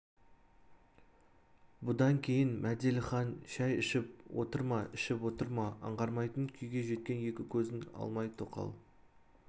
бұдан кейін мәделіхан шай ішіп отыр ма ішіп отыр ма аңғармайтын күйге жеткен екі көзін алмай тоқал